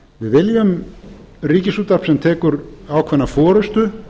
við viljum ríkisútvarp sem tekur ákveðna forustu